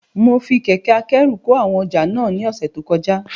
Mo fi kẹ̀kẹ́ akẹ́rù kó àwọn ọjà náà ní ọ̀sẹ̀ tó kọjá